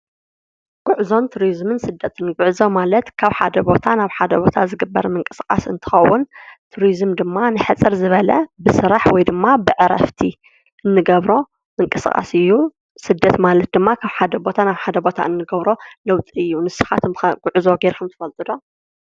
ጉዕዞን ቱሪዝምን ስደትን : ጉዕዞ ማለት ካብ ሓደ ቦታ ናብ ሓደ ቦታ ዝግበር ምንቅስቓስ እንትኸውን ቱሪዝም ድማ ንሕፅር ዝበለ ብስራሕ ወይ ድማ ብዕረፍቲ እንገብሮ ምንቅስቓስ እዩ ስደት ማለት ድማ ካብ ሓደ ቦታ ናብ ሓደ ቦታ እንገብሮ ለውጢ እዩ ንስኻትኩም ከ ጉዕዞ ጌርኩም ትፈልጡ ዶ ?